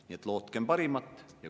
Nii et lootkem parimat.